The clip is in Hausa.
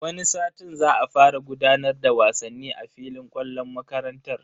Wani satin za a fara gudanar da wasanni a filin kwallon makarantar.